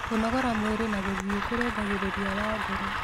Kũnogora mwĩrĩ na gũthĩĩ kũrũngagĩrĩrĩa wa ngoro